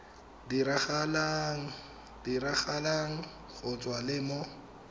diragalang go tswa le mo